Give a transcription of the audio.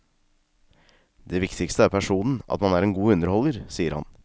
Det viktigste er personen, at man er en god underholder, sier han.